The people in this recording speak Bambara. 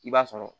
I b'a sɔrɔ